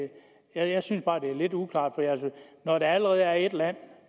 jeg jeg synes bare at det er lidt uklart når der allerede er et land